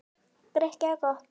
Grikk eða gott?